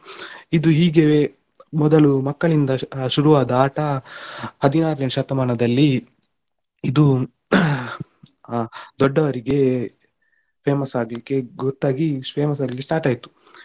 ಇದು ಹೀಗೆವೆ ಮೊದಲು ಮಕ್ಕಳಿಂದ ಶುರು ಆದ ಆಟ ಹದಿನಾರನೇ ಶತಮಾನದಲ್ಲಿ ಇದು ದೊಡ್ಡವರಿಗೆ famous ಆಗ್ಲಿಕ್ಕೆ ಗೊತ್ತಾಗಿ famous ಆಗ್ಲಿಕ್ಕೆ start ಆಯ್ತು.